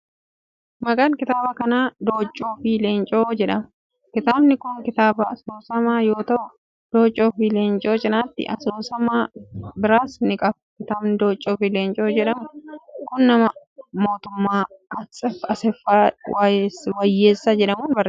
Maqaan kitaaba kanaa Dooccoo fi Leencoo jedhama. Kitaabni kun, kitaaba asoosamaa yoo ta'u, dooccoo fi leencoo cinaatti asoosama biraas ni qaba. KItaabni dooccoo fi leencoo jedhamu kun, nama Obbo Mootummaa Asaffaa Wayyeessaa jedhamuun barreeffame.